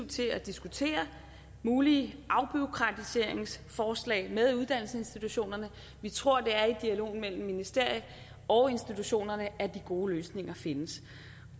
til at diskutere mulige afbureaukratiseringsforslag med uddannelsesinstitutionerne vi tror det er i dialogen mellem ministerier og institutionerne at de gode løsninger findes